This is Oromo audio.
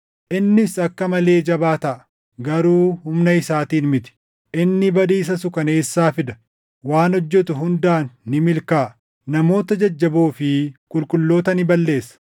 Innis akka malee jabaa taʼa; garuu humna isaatiin miti. Inni badiisa suukaneessaa fida; waan hojjetu hundaan ni milkaaʼa. Namoota jajjaboo fi qulqulloota ni balleessa.